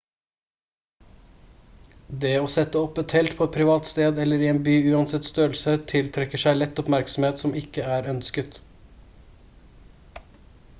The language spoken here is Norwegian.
det å sette opp et telt på et privat sted eller i en by uansett størrelse tiltrekker seg lett oppmerksomhet som ikke er ønsket